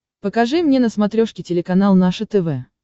покажи мне на смотрешке телеканал наше тв